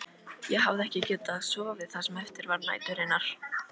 Ég hafði ekki getað sofið það sem eftir var næturinnar.